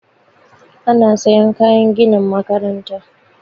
Ana sayan kayan ginin makaranta